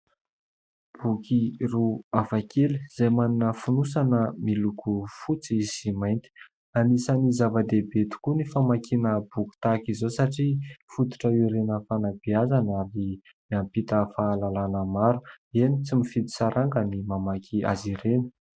Boky roa hafa kely izay manana fonosana miloko fotsy sy mainty. Anisany zava-dehibe tokoa ny famakiana boky tahaka izao satria fototra iorenan'ny fanambeazana ary miampita fahalalana maro. Eny tsy mifidy saranga ny mamaky azy ireny.